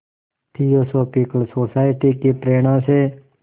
theosophical society की प्रेरणा से